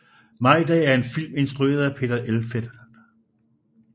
Majdag er en film instrueret af Peter Elfelt